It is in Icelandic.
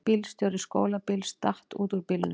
Bílstjóri skólabíls datt út úr bílnum